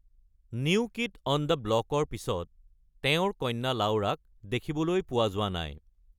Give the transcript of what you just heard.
"New kid on the ব্লক"ৰ পিছত তেওঁৰ কন্যা লাউৰাক দেখিবলৈ পোৱা যোৱা নাই।